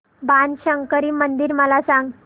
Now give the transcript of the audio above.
बाणशंकरी मंदिर मला सांग